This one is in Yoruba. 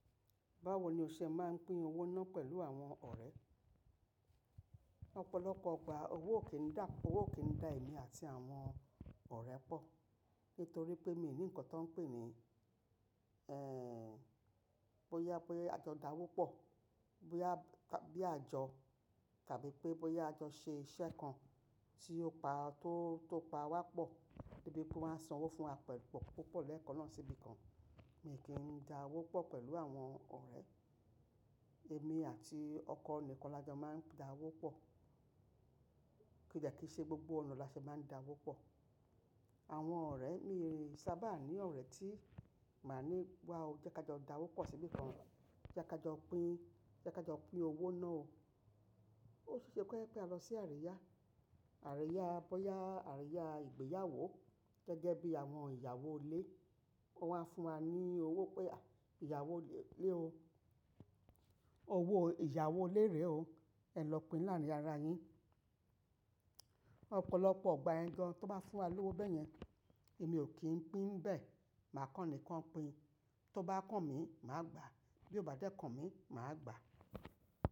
Báwo ni o ṣe máa ń pín owó náà pẹ̀lú àwọn ọ̀rẹ́? Ọ̀pọ̀lọpọ̀ ìgbà owó kì n dà, owó kì í dà èmi àti àwọn ọ̀rẹ́ pọ̀. Nítorí pé mi ò ní nǹkan tó ń pè ní, ẹ́, bóyá pé àjọ da wó pọ̀, bóyá bí àjọ tàbí pé bóyá àjọ ṣe iṣẹ́ kan tí ó pa tó, tó pa wá pọ̀ debí pé won á ń san owó fún wa pẹ̀lú pọ̀ púpọ̀ lẹ́ẹ̀kan náà síbí kan. Mi kì n dáwó pọ̀ pẹ̀lú àwọn ọ̀rẹ́. Èmi àti ọkọ ni kan lájọ máa ń dá owó pọ̀. Kìi jẹ̀ kí í ṣe gbogbo ọ̀nà la fi máa ń dáwó pọ̀. Àwọn ọ̀rẹ́ mi sábà ní ọ̀rẹ́ tí màá ní, "Wá o, jẹ́ ká jọ dáwó pọ̀ síbí kan. Jẹ́ ká jọ pín, jẹ́ ká jọ pín owó náà o." Ó sì ṣe pé ki a lọ sí àríyá. Àríyá bóyá àríyá ìgbéyàwó gẹ́gẹ́ bí àwọn ìyàwó ilé. Wọ́n a ń fún wa ní owó pé, "Ìyàwó ilé o, owó ìyàwó ilé rẹ o, ẹ lọ pín láàárín ara yín." Ọ̀pọ̀lọpọ̀ ìgbà iyẹ́n gan tó bá fún wa lówó bẹ yẹn, èmi ò kí ń pín bẹ́ẹ̀. Màá kan ni kan pín. Tó bá kàn mí, màá gbà. Bí ó bá dẹ́kàn mí, màá gbà.